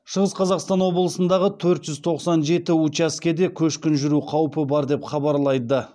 шығыс қазақстан облысындағы төрт жүз тоқсан жеті учаскеде көшкін жүру қаупі бар деп хабарлайды